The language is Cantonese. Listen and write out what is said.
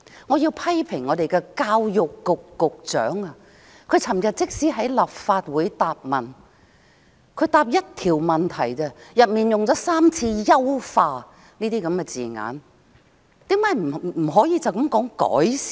我要批評教育局局長，他昨天回答立法會的質詢時，單是回答一項質詢已用了3次"優化"等字眼，為何不能是說"改善"？